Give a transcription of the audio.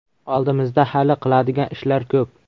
Oldimizda hali qiladigan ishlar ko‘p.